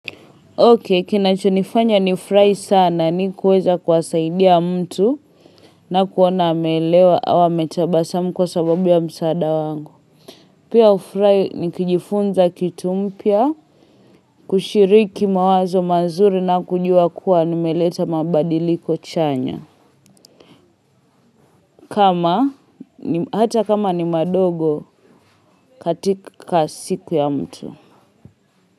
Okay, kinachonifanya nifuraha sana ni kuweza kuwasaidia mtu na kuona ameelewa au ametabasamu kwa sababu ya msaada wangu. Pia hufurahi nikijifunza kitu mpya, kushiriki mawazo mazuri na kujua kuwa nimeleta mabadiliko chanya. Kama, hata kama ni madogo katika siku ya mtu.